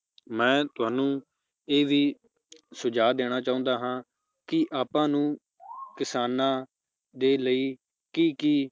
ਮੈ ਤੁਹਾਨੂੰ ਇਹ ਵੀ ਸੁਝਾਅ ਦੇਣਾ ਚਾਹੁੰਦਾ ਹਾਂ, ਕਿ ਆਪਾਂ ਨੂੰ ਕਿਸਾਨਾਂ ਦੇ ਲਯੀ ਕੀ-ਕੀ